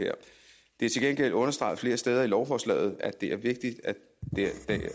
det er til gengæld understreget flere steder i lovforslaget at det er vigtigt